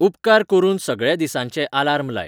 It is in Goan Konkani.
उपकार करून सगळ्या दिसा्ंचे आलार्म लाय